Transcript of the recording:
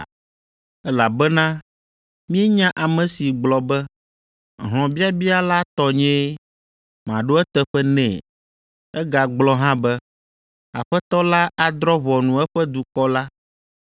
Elabena míenya ame si gblɔ be, “Hlɔ̃biabia la tɔnyee, maɖo eteƒe nɛ,” egagblɔ hã be, “Aƒetɔ la adrɔ̃ ʋɔnu eƒe dukɔ la.”